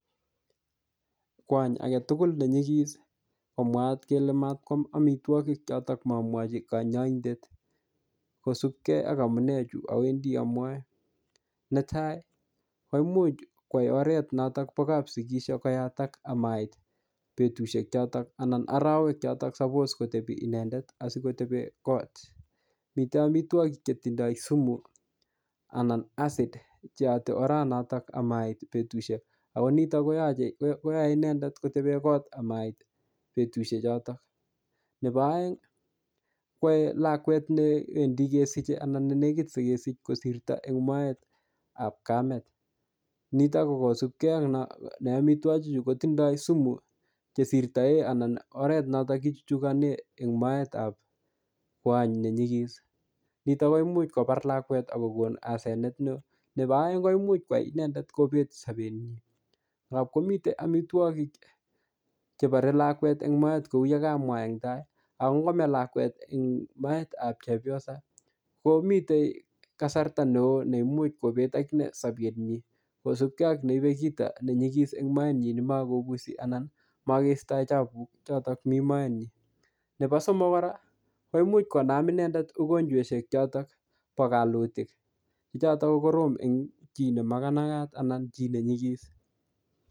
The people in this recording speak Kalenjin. Kwony age tugul ne nyikis, ko mwaat kele matkwam amitwogik chotok mamwochi kanyaindet kosubkei ak amunee chu awendi amwae. Netai, koimuch kwai oret notok bo kapsikis koyatak amait betusiek chotok anan arawek chotok suppose kotebi inendet asikotebe kot. Mitei amitwogik che tindoi sumu, anan acid cheyate orat natak amait betusiek. Ako nitok koyache, koyae inendet koebe kot amait betusiek chotok. Nebo aeng, kwae lakwet newendi kesijei anan ne nekit kesij kosirto en moet ap kamet. Nitok ko kosubkei ak no ne amitwogik chu kotindoi sumu che sirtae anan oret notok kichuchukane ne moet ap kwony ne nyikis. Nitok koimuch kobar lakwet akokon asenet ne. Nebo aeng, koimuch kwai inendet kobet sabet nyii. Ngapkomite amitwogik chebore lakwet en moet, kou yekamwaa en tai. Ak ngokome lakwet eng moet ap chepyosa, komitei kasarta neoo neimuch kobet akine sabet nyii. Kosubkei ak neibe kito ne nyikis en moet nyii nemakobusi anan makeistoi chapuk chotok mii moet nyi. Nebo somok kora, koimuch konam inendet mugonjweshek chotok po kalutik. Che chotok ko korom eng chi ne maganaiyat anan chi ne nyikis